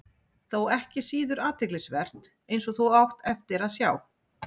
Þó ekki síður athyglisvert, eins og þú átt eftir að sjá.